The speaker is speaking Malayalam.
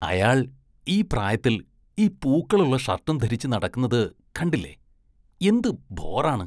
അയാള്‍ ഈ പ്രായത്തില്‍ ഈ പൂക്കളുള്ള ഷര്‍ട്ടും ധരിച്ച് നടക്കുന്നത് കണ്ടില്ലേ, എന്ത് ബോറാണ്.